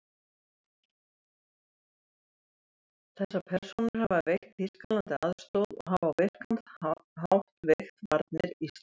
Þessar persónur hafa veitt Þýskalandi aðstoð og hafa á virkan hátt veikt varnir Íslands.